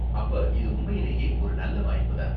அப்ப இது உண்மையிலேயே ஒரு நல்ல வாய்ப்பு தான்.